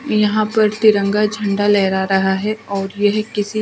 यहाँ पर तिरंगा झंडा लहरा रहा है और यह किसी--